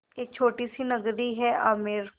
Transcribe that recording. एक छोटी सी नगरी है आमेर